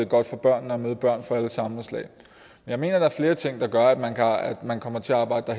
godt for børnene at møde børn fra alle samfundslag jeg mener at der er flere ting der gør at man kommer til at arbejde